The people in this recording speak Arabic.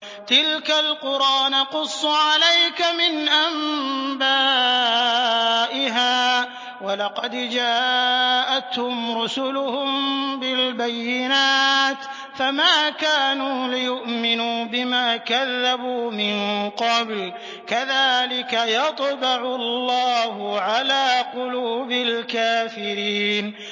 تِلْكَ الْقُرَىٰ نَقُصُّ عَلَيْكَ مِنْ أَنبَائِهَا ۚ وَلَقَدْ جَاءَتْهُمْ رُسُلُهُم بِالْبَيِّنَاتِ فَمَا كَانُوا لِيُؤْمِنُوا بِمَا كَذَّبُوا مِن قَبْلُ ۚ كَذَٰلِكَ يَطْبَعُ اللَّهُ عَلَىٰ قُلُوبِ الْكَافِرِينَ